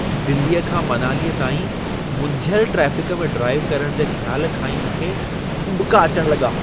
दिल्लीअ खां मनालीअ ताईं मुंझियल ट्रैफ़िक में ड्राइव करण जे ख़्याल खां ई मूंखे उॿिका अचण लॻा।